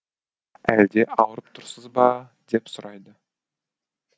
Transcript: әлде ауырып тұрсыз ба деп сұрайды